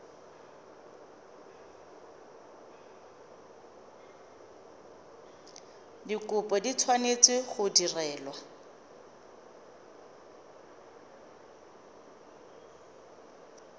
dikopo di tshwanetse go direlwa